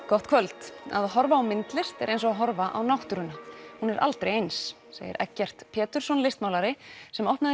gott kvöld að horfa á myndlist er eins og að horfa á náttúruna hún er aldrei eins segir Eggert Pétursson listmálari sem opnaði